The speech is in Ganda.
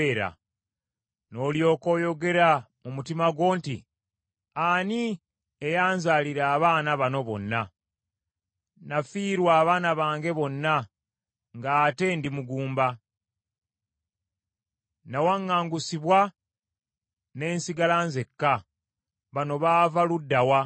N’olyoka oyogera mu mutima gwo nti, ‘Ani eyanzaalira abaana bano bonna? Nafiirwa abaana bange bonna ng’ate ndi mugumba. Nawaŋŋangusibwa ne nsigala nzekka. Bano baava ludda wa? Nasigala nzekka, naye ate bano, baava wa?’ ”